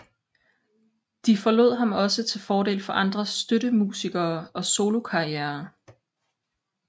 De forlod ham også til fordel for andre støttemusikere og solokarrierer